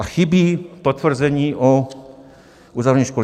A chybí potvrzení o uzavření školy.